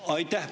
Aitäh!